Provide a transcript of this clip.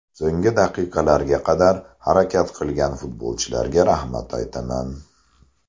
So‘nggi daqiqalarga qadar harakat qilgan futbolchilarga rahmat aytaman”.